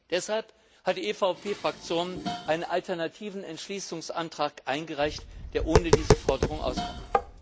Deshalb hat die EVP Fraktion einen alternativen Entschließungsantrag eingereicht, der ohne diese Forderung auskommt.